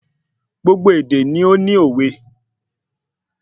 Gbogbo èdè ni óní òwe